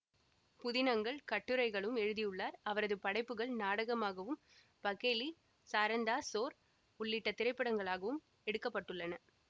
புதினங்கள் கட்டுரைகளும் எழுதி உள்ளார் அவரது படைப்புகள் நாடகமாகவும் பகேலி சாரந்தாஸ் சோர் உள்ளிட்ட திரைப்படங்களாகவும் எடுக்க பட்டுள்ளன